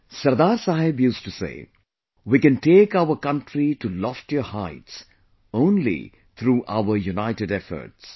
Sardar Sahab used to say "We can take our country to loftier heights only through our united efforts